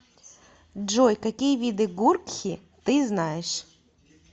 джой какие виды гуркхи ты знаешь